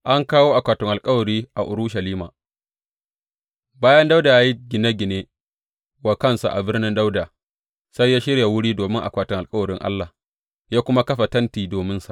An kawo akwatin alkawari a Urushalima Bayan Dawuda ya yi gine gine wa kansa a Birnin Dawuda, sai ya shirya wuri domin akwatin alkawarin Allah, ya kuma kafa tenti dominsa.